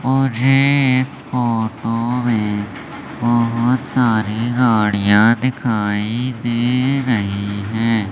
मुझे इस फोटो मे बहोत सारी गाड़ियां दिखाई दे रही हैं।